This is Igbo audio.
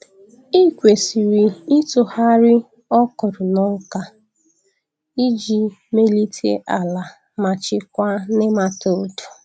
Ị kwesịrị ịtụgharị okra na ọka iji melite ala ma chịkwaa nematodes.